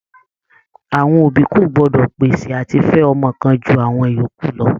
Àwọn òbí kò gbọ́dọ̀ pèsè àti fẹ ọmọ kan ju àwọn ìyókù lọ.